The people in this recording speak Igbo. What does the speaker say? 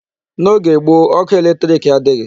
N'oge gboo ọkụ electric adịghị.